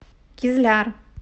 кизляр